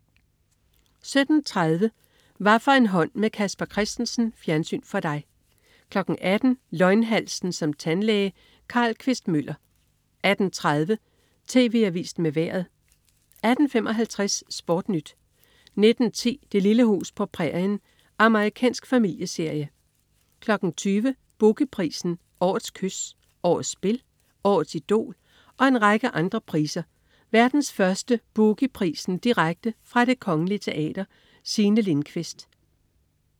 17.30 Hvaffor en hånd med Casper Christensen. Fjernsyn for dig 18.00 Løgnhalsen som tandlæge. Carl Quist-Møller 18.30 TV Avisen med Vejret 18.55 SportNyt 19.10 Det lille hus på prærien. Amerikansk familieserie 20.00 Boogie Prisen. Årets Kys, Årets Spil, Årets Idol og en række andre priser. Verdens første "Boogie Prisen" direkte fra Det Kongelige Teater. Signe Lindkvist